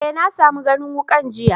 Eh, na samu ganin wukan jiya.